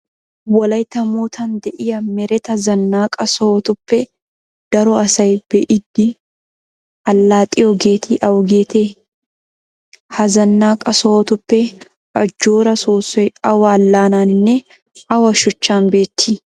Wolaytta moottan de'iya mereta Zannaqa sohotuppe daro asay be'idi allaxxiyogeeti awugeetee? Ha zannaqa sohotuppe ajjooraa soossoy awa allaanaaninne awa shuchchan beettii?